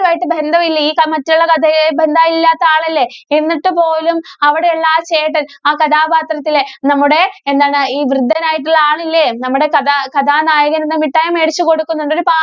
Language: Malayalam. മായിട്ട് ബന്ധം ഇല്ല്യ, ഈ സമയത്തുള്ള കഥയുമായി ബന്ധമില്ലാത്ത ആളല്ലേ. എന്നിട്ട് പോലും അവിടെയുള്ള ആ ചേട്ടന്‍ ആ കഥാപാത്രത്തിലെ നമ്മുടെ എന്താണ്, ഈ വൃദ്ധനായിട്ടുള്ള ആളില്ലേ? നമ്മുടെ കഥ, കഥാനായകനീന്ന് മിഠായി മേടിച്ച് കൊടുക്കുന്നുണ്ട്. ഒരു പാ